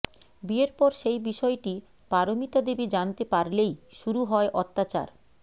বিয়ের পর সেই বিষয়টি পারমিতাদেবী জানতে পারলেই শুরু হয় অত্যাচার